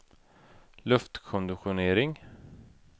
luftkonditionering